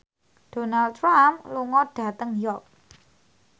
Donald Trump lunga dhateng York